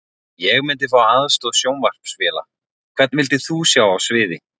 Ég myndi fá aðstoð sjónvarpsvéla Hvern vildir þú sjá á sviði?